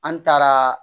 An taara